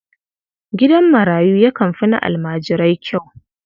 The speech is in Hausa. Gidan marayu yakan fi na almajirai kyau.